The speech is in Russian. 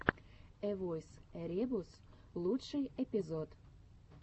эвойс эребус лучший эпизод